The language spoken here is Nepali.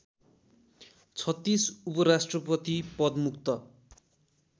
३६ उपराष्ट्रपति पदमुक्त